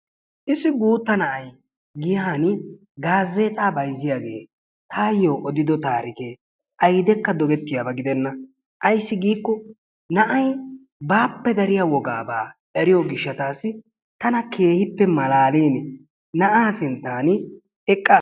Issi guutta na'ay giyaan gaazeexaa bayzziyaagee tayoo odido tarikee aydekka doggetiyaaba giddena. Ayssi giikko na'ay baappe dariyaa wogaabaa eriyoo giishshatassi tana keehippe malaalini na'aa sinttaan eqqaas.